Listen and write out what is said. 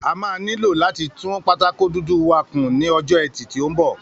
A máa nílò láti tún pátákó dúdú wá kún ní ọjọ́ ẹtì tí ó ń bọ̀